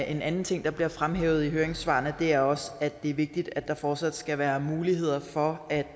en anden ting der bliver fremhævet i høringssvarene er også at det er vigtigt at der fortsat skal være muligheder for at